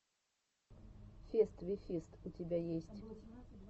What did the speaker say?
фест ви фист у тебя есть